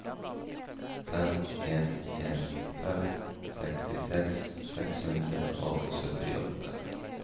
fem en en fem sekstiseks seks hundre og syttiåtte